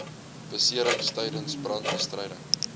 beserings tydens brandbestryding